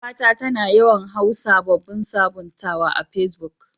Yar uwa ta, ta na yawan hau sabobin sabuntawa a pesbuk.